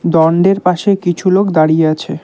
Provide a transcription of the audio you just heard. দণ্ডের পাশে কিছু লোক দাঁড়িয়ে আছে।